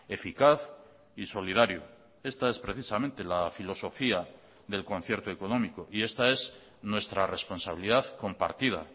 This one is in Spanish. eficaz y solidario esta es precisamente la filosofía del concierto económico y esta es nuestra responsabilidad compartida